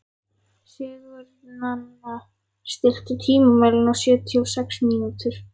Sigurnanna, stilltu tímamælinn á sjötíu og sex mínútur.